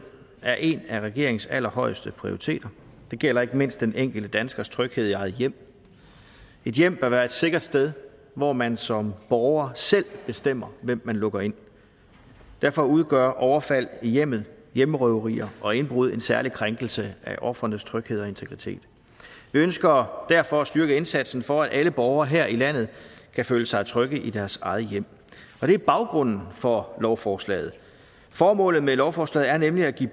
er en af regeringens allerhøjeste prioriteter det gælder ikke mindst den enkelte danskers tryghed i eget hjem et hjem bør være et sikkert sted hvor man som borger selv bestemmer hvem man lukker ind derfor udgør overfald i hjemmet hjemmerøverier og indbrud en særlig krænkelse af ofrenes tryghed og integritet vi ønsker derfor at styrke indsatsen for at alle borgere her i landet kan føle sig trygge i deres eget hjem og det er baggrunden for lovforslaget formålet med lovforslaget er nemlig at give